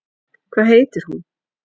Hvað heitir hún?